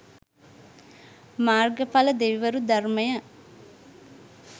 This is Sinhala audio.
මාර්ගඵල දෙවිවරු ධර්මය